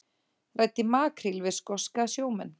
Ræddi makríl við skoska sjómenn